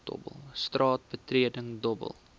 straat betreding dobbel